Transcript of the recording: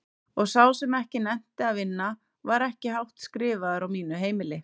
Og sá sem ekki nennti að vinna var ekki hátt skrifaður á mínu heimili.